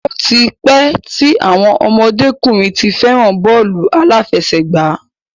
Ó ti pẹ́ tí àwọn ọmọdé-kùnrin ti fẹ́ràn bọ́ọ̀lù aláfẹsẹ̀gbá.